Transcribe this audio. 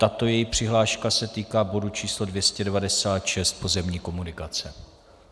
Tato její přihláška se týká bodu číslo 296, pozemní komunikace.